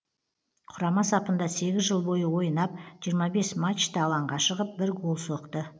құрама сапында сегіз жыл бойы ойнап жиырма бес матчта алаңға шығып бір гол соқты